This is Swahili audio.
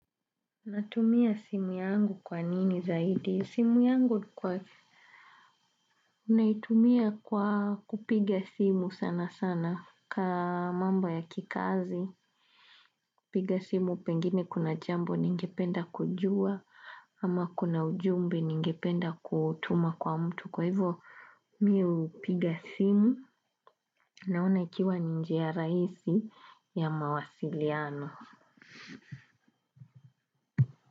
Natumia simu yangu kwanini zaidi? Simu yangu kwa unaitumia kwa kupiga simu sana sana ka mambo ya kikazi. Kupiga simu pengine kuna jambo ningependa kujua ama kuna ujumbe ningependa kutuma kwa mtu. Kwa hivyo mihu piga simu. Naona ikiwa ni njia rahisi ya mawasiliano.